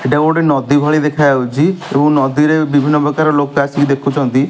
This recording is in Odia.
ଏଇଟା ଗୋଟେ ନଦୀ ଭଳି ଦେଖା ଯାଉଛି ଏବଂ ନଦୀରେ ବିଭିନ୍ନ ପ୍ରକାର ଲୋକ ଅସିକି ଦେଖୁଛନ୍ତି।